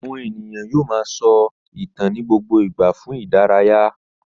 Àwọn ènìyàn yóò máa sọ ìtàn ní gbogbo ìgbà fún ìdárayá.